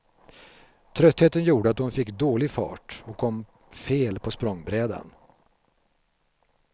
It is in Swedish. Tröttheten gjorde att hon fick dålig fart och kom fel på språngbrädan.